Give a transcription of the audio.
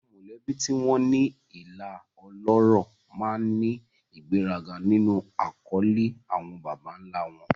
Àwọn mọ̀lẹ́bí tí wọ́n ní ìlà ọlọ́rọ̀ máa ń ní ìgbéraga nínú àkọlé àwọn baba ńlá wọn.